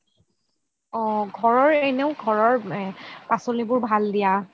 অহ ঘৰৰ এনেও ঘৰৰ পাচলিবোৰ ভাল দিয়া